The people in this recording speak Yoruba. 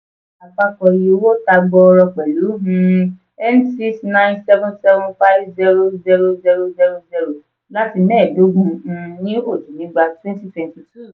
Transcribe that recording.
àpapọ̀ iye owó tà gbòòrò pelu um n six nine seven seven five zero zero zero zero zero láti mẹ́ẹ̀ẹ́dógún um ní oji nígbà twenty twenty two.